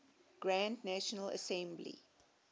grand national assembly